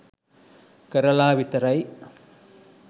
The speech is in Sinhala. කරලා විතරයි